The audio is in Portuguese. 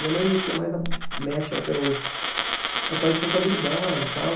Minha mãe mexia mais na, mexe até hoje, na parte de contabilidade e tal.